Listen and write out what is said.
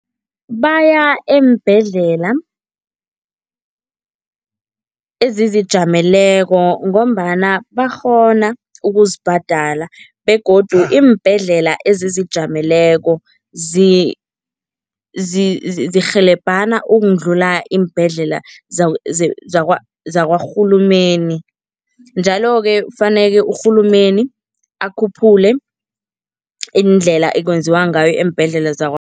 Baya eembhedlela ezizijameleko ngombana bakghona ukuzibhadala begodu iimbhedlela ezizijameleko zirhelebhane ukudlula iimbhedlela zakarhulumeni njalo-ke faneke urhulumeni akhuphule iindlela ekwenziwa ngayo eembhedlela